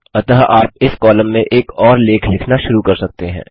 अतः आप इस कॉलम में एक और लेख लिखना शुरू कर सकते हैं